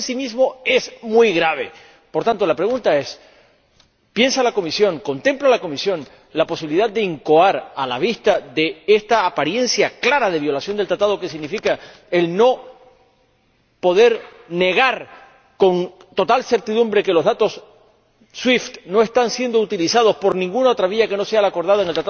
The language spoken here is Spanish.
Y esto, en sí mismo, es muy grave. Por tanto, la pregunta es ¿piensa la Comisión, contempla la Comisión la posibilidad de solicitar la suspensión del Acuerdo, a la vista de esta apariencia clara de violación del mismo que significa el no poder negar con total certidumbre que los datos SWIFT no están siendo utilizados por ninguna otra vía que no sea la acordada en